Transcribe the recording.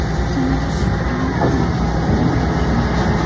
Samolyotga brilliant ham ortilgan bo‘lishi mumkin.